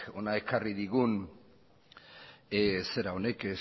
hona ekarri digun zera honek